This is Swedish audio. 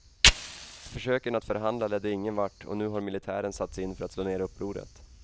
Försöken att förhandla ledde ingen vart, och nu har militären satts in för att slå ned upproret.